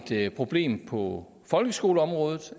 et problem på folkeskoleområdet